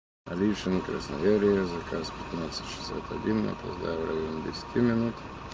алишино красноярье заказ пятнадцать шестьдесят один опоздаю в районе десяти минут